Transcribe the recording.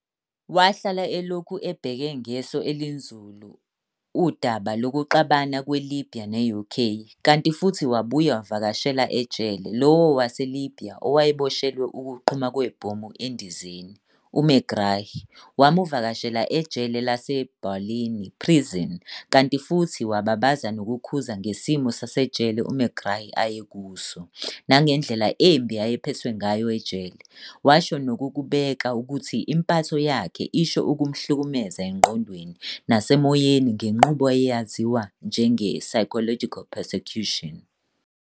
Wahlala elokhu ebheke ngeso elinzulu udaba lokuxabana kwe-Libya ne-UK, kanti futhi wabuya wavakashela ejele, lowo waseLibya owayeboshelwe ukuqhuma kwebhomu endizeni, u-Megrahi wamuvakashela ejele lase-Barlinnie prison kanti futhi wababaza nokukhuza ngesimo sasejele u-Megrahi ayekuso, nangendlela embi ayephethwe ngayo ejele, washo nokukubeka ukuthi impatho yakhe isho ukuhlumhlukumeza engqondweni nasemoyeni ngenqubo eyaziwa njenge-"psychological persecution".